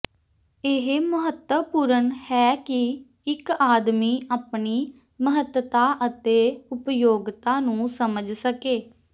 ਇਹ ਮਹੱਤਵਪੂਰਣ ਹੈ ਕਿ ਇੱਕ ਆਦਮੀ ਆਪਣੀ ਮਹੱਤਤਾ ਅਤੇ ਉਪਯੋਗਤਾ ਨੂੰ ਸਮਝ ਸਕੇ